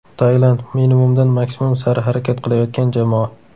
Tailand: minimumdan maksimum sari harakat qilayotgan jamoa.